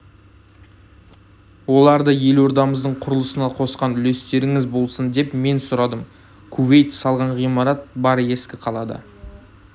оларды елордамыздың құрылысына қосқан үлестеріңіз болсын деп мен сұрадым кувейт салған ғимарат бар ескі қалада